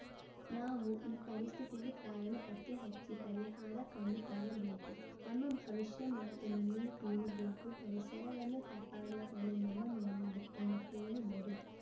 ನಾವು ಈ ಪರಿಸ್ಥಿತಿಗೆ ಕಾರಣ ಪತ್ತೆ ಹಚ್ಚಿ ಪರಿಹಾರ ಕಂಡುಕೊಳ್ಳಬೇಕು ನಮ್ಮ ಭವಿಷ್ಯ ಮತ್ತು ಮುಂದಿನ ಪೀಳಿಗೆಗೂ ಪರಿಸರವನ್ನು ಕಾಪಾಡುವ ಹೊಣೆ ನಮ್ಮ ಮೇಲಿದೆ ಎಂದು ಹೇಳಿದರು